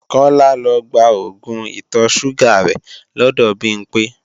Kọ́lá lọ gba oògùn ìtọ̀-ṣúgà rẹ̀ lọ́dọ̀ Bimpé